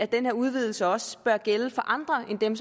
den her udvidelse også bør gælde for andre end dem